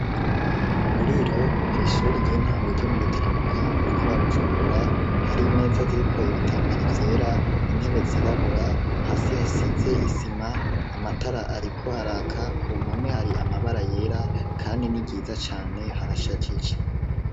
Mu buriro ku ishuri ry'intango ryo mu gitaramuka mu ntara ya Bujumbura hari meza ziriko ibitambara byera intebetsirabura hasi hasitse isima amatara ariko araka ku mpume hari amabara yera kandi n'igiza cane harashajije.